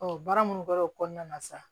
baara minnu kɛra o kɔnɔna na sa